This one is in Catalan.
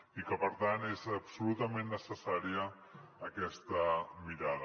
i que per tant és absolutament necessària aquesta mirada